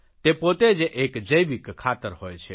તે પોતે જ એક જૈવિક ખાતર હોય છે